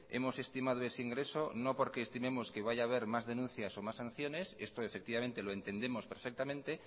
hemos estimado ese ingreso no porque estimemos que vaya a haber más denuncias o más sanciones esto lo entendemos perfectamente